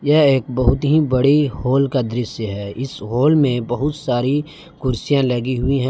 यह एक बहुत ही बड़ी हॉल का दृश्य है इस हाल में बहुत सारी कुर्सियां लगी हुई हैं।